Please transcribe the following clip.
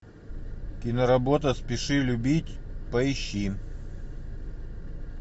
киноработа спеши любить поищи